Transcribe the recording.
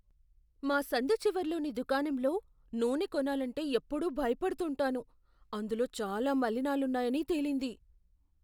మా సందు చివర్లోని దుకాణంలో నూనె కొనాలంటే ఎప్పుడూ భయపడుతుంటాను. అందులో చాలా మలినాలున్నాయని తేలింది.